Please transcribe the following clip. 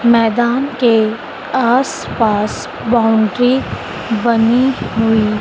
मैदान के आस पास बाउंड्री बनी हुई--